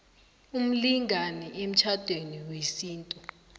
umlingani emtjhadweni wesintu